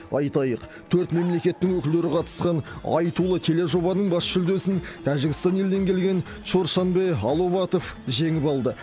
айтайық төрт мемлекеттің өкілдері қатысқан айтулы тележобаның бас жүлдесін тәжікстан елінен келген чоршанбе аловатов жеңіп алды